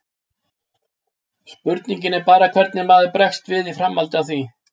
Spurningin er bara hvernig maður bregst við í framhaldi af því.